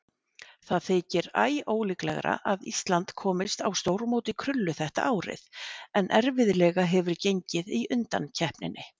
Það þykir æólíklegra að Ísland komist á stórmót í krullu þetta árið en erfiðlega hefur gengið í undankeppninni.